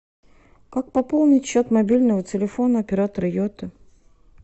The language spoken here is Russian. как пополнить счет мобильного телефона оператора йота